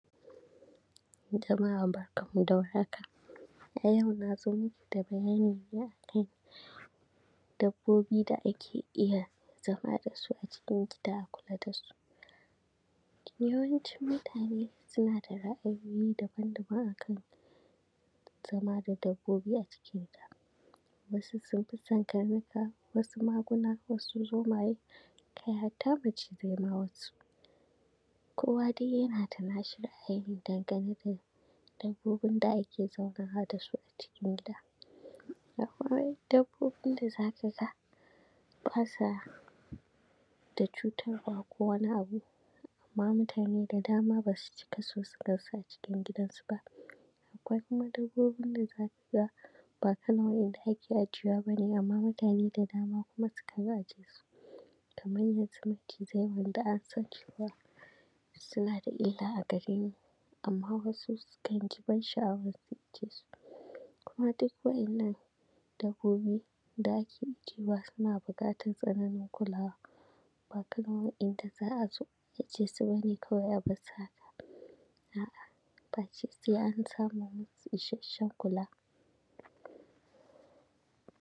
A yau na zo maku da bayni ne a kan dabbobi da ake iya zama da su a cikin gida a kula da su, yawancin mutane suna da ra’ayi daban-daban a kan zama da dabbobi a cikin gida, wasu sun fi son karnuka, wasu maguna, wasu zomaye, kai hatta macizai ma wasu,, kowa dai yana da nashi ra’ayi n dangane da dabobin da ake zaunawa da su a cikin gida, akwai kuma dabbobi da za ka ga ba sa da cutarwa ko wani abu, amma mutane da dama ba su cika so su gan su a cikin gidansu ba, akwai kuma dabbobin da za ka ga ba kamar waɗanda ake ajiyewa ba ne, amma kuma mutane da dama na iya ajiye su,, kamar macizai waɗanda an san cewa suna da illa a gare mu amma wasu sukan ji sha’awar su aje su, Kuma duk waɗannan dabbobi da ake ajewa suna buƙatar tsaro da kulawa, ba kamar waɗanda za a zo a aje ba ne kawai haka, a’a face sai an samar masu da isasshen kula,